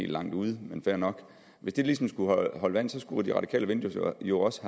langt ude men fair nok skulle holde vand skulle det radikale venstre jo også